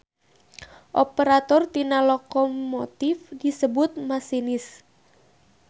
Operator tina lokomotif disebut masinis.